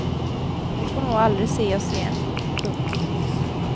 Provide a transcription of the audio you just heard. Hon får nog aldrig se oss igen. punkt